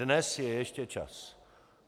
Dnes je ještě čas.